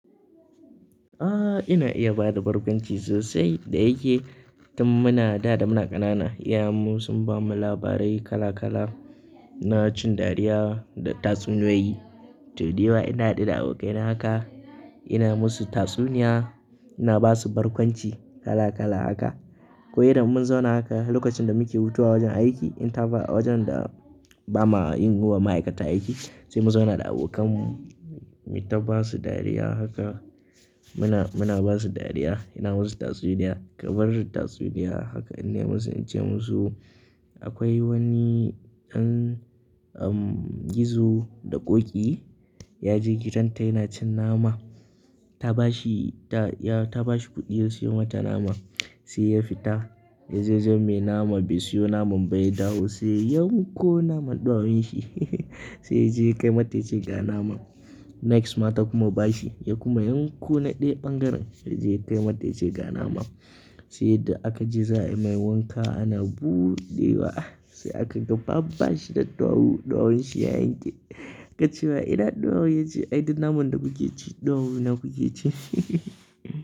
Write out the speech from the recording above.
Ah, ina iya bada barkwanci sosai. Da yake tun muna da muna ƙanana, iyayenmu sun bamu labarai kala kala na cin dariya da tatsuniyoyi. To dai da ina hira da abokaina haka, ina musu tatsuniya, ina basu barkwanci kala kala haka. Ko idan mun zauna haka lokacin da muke hutawa wajen aiki, in ta fi a wajen da ba ma yin wa ma'aikata aiki, sai mu zauna da abokanmu, mu taba su dariya haka. Muna, muna basu dariya, ina musu tatsuniya. Ka bar tatsuniya haka, ina musu, na ce musu akwai wani ɗan, um, gizo da ƙoƙi, ya je gidan ta yana cin nama. Ta bashi, ta, ya, ta bashi kuɗi ya siyo mata nama. Sai ya fita, ya je wajan mai nama bai siyo naman ba ya dawo. Sai ya yi kunkunan ɗawowin shi, sai ya je kai mata yace ga naman. Next, matar kuma ba shi, ya kuma yi kunkuna ɗaya ɓangaren, sai ya je kai mata yace ga naman. Sai da aka ji zai mai wanka ana buɗewa, sai aka ga babban shi da ɗawu, ɗawowin shi ya yanke. Ka ciwa ina ɗawowa yake ci, ai ita naman da kuke ci, ɗawu na kuke ci.